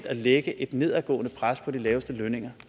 at lægge et nedadgående pres på de laveste lønninger